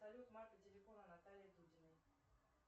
салют марка телефона натальи дудиной